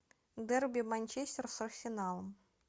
дерби манчестер с арсеналом